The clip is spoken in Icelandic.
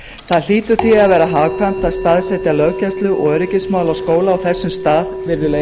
það hlýtur því að vera hagkvæmt að staðsetja löggæslu og öryggismálaskóla á þessum stað virðulegi